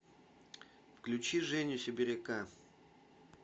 включи женю сибиряка